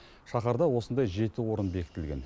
шаһарда осындай жеті орын бекітілген